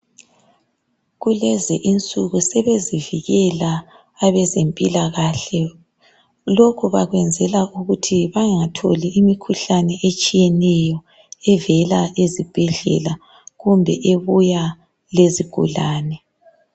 Kulezi insuku sebezivikela abezempilakahle lokho bakwenzela ukuthi bangatholi imikhuhlane etshiyeneyo evela ezibhedlela kumbe ebuya lezigulane.